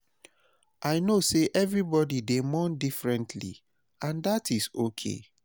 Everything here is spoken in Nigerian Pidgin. I know say everybody dey mourn differently and dat is okay.